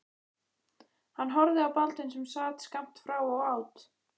Hann horfði á Baldvin sem sat skammt frá og át.